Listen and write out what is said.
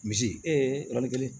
Misi yɔrɔnin kelen